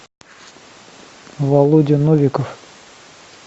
володя новиков